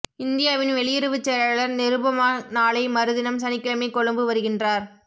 இந்தியாவின் வெளியுறவுச் செயலாளர் நிருபமா நாளை மறுதினம் சனிக்கிழமை கொழும்பு வருகின்றார்